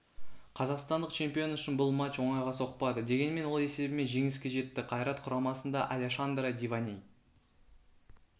қазақстандық чемпион үшін бұл матч оңайға соқпады дегенмен ол есебімен жеңіске жетті қайрат құрамасында алешандре диваней